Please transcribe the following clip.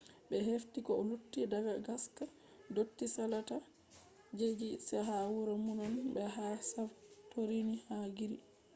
ɓe hefti ko lutti daga ngaska dotti salata je ci’eji ha wuro minowan be ha santorini ha gris